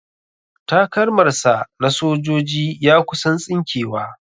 Takalmar sa na sojoji ya kusan tsinke wa